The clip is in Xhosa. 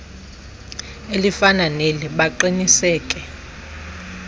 elifana neli baqiniseke